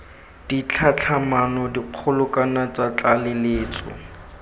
ditlhatlhamano dikgolo kana tsa tlaleletso